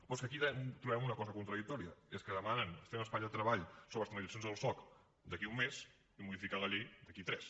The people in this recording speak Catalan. però és que aquí també trobem una cosa contradictòria és que demanen fer un espai de treball sobre les tramitacions del soc d’aquí un mes i modificar la llei d’aquí tres